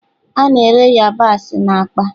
A na-ere yabasị na akpa.